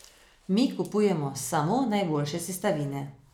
Mi kupujemo samo najboljše sestavine.